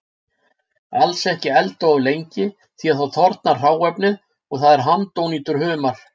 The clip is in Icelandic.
Alls ekki elda of lengi því þá þornar hráefnið og það er handónýtur humar.